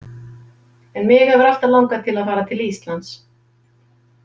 En mig hefur alltaf langað til að fara til Íslands.